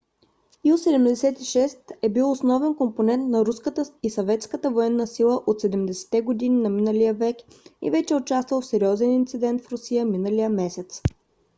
il -76 е бил основен компонент на руската и съветската военна сила от 70 - те години на миналия век и вече е участвал в сериозен инцидент в русия миналия месец